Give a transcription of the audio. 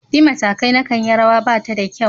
Bi matakai na kayi rawa Bata da kyau.